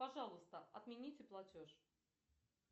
пожалуйста отмените платеж